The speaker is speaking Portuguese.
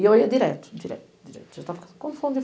E eu ia direto, direto, direto, já tava...